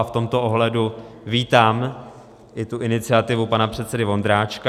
A v tomto ohledu vítám i tu iniciativu pana předsedy Vondráčka.